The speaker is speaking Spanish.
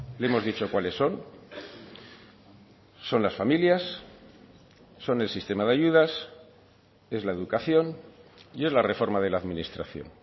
le hemos dicho cuáles son son las familias son el sistema de ayudas es la educación y es la reforma de la administración